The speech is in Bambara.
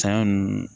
Saɲɔ ninnu